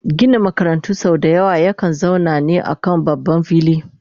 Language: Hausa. Ginin makarantu sau dayawa ya kan zauna ne a kan babban fili